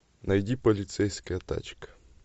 найди полицейская тачка